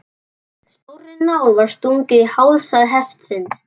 Stórri nál var stungið í hálsæð hestsins.